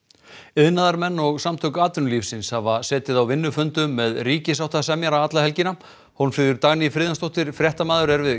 iðnaðarmenn og Samtök atvinnulífsins hafa setið á vinnufundum með ríkissáttasemjara alla helgina Hólmfríður Dagný Friðjónsdóttir fréttamaður er við